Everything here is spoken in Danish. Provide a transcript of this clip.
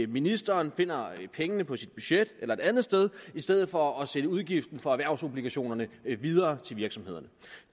ministeren finder pengene på sit budget eller et andet sted i stedet for at sende udgiften for erhvervsobligationerne videre til virksomhederne